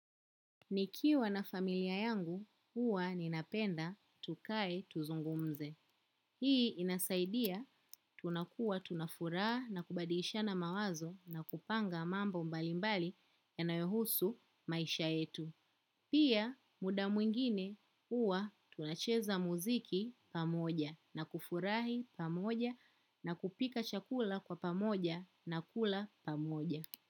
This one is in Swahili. Nikiwa na familia yangu, huwa ninapenda tukae tuzungumze. Hii inasaidia tunakuwa, tunafuraha na kubadilishana mawazo na kupanga mambo mbalimbali yanayohusu maisha yetu. Pia muda mwingine huwa tunacheza muziki pamoja na kufurahi pamoja na kupika chakula kwa pamoja na kula pamoja.